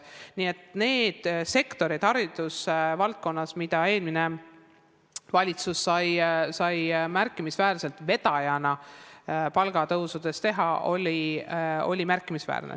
Nii et nendes haridusvaldkonna sektorites oli eelmine valitsus märkimisväärse palgatõusu vedaja.